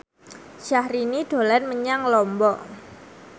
Syahrini dolan menyang Lombok